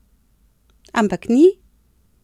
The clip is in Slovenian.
Ampak ni!